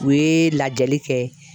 U ye lajɛli kɛ.